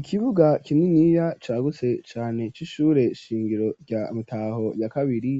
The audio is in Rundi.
Ikibuga kininiya, cagutse cane, c'ishure shingiro, rya Mutaho ya kabiri;